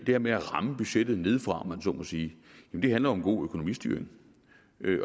her med at ramme budgettet nedefra om man så må sige handler om god økonomistyring